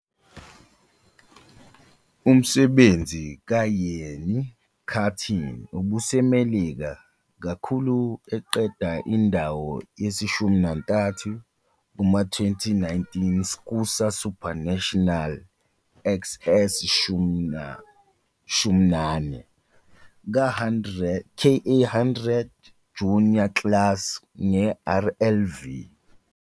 Umsebenzi kaYeany Karting ubuseMelika kakhulu eqeda indawo yesi-13 kuma-2019 SKUSA SuperNationals XX11 - KA100 Junior Class ngeRLV.